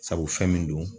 Sabu fɛn min don